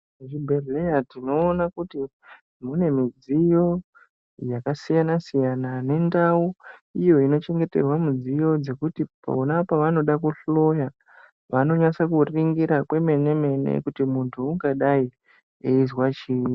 Muzvibhehleya tinoona kuti mune midziyo yakasiyana-siyana nendau iyo inochengeterwa mudziyo dzekuti pona pavanoda kuhloya vanonyatso kuringira kwemene-mene kuti muntu ungadai eizwa chii.